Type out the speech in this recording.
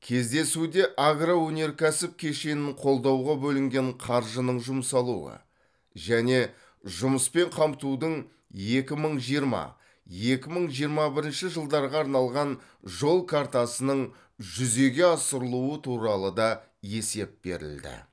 кездесуде агроөнеркәсіп кешенін қолдауға бөлінген қаржының жұмсалуы және жұмыспен қамтудың екі мың жиырма екі мың жиырма бірінші жылдарға арналған жол картасының жүзеге асырылуы туралы да есеп берілді